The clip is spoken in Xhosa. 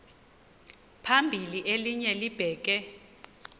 phambili elinye libheke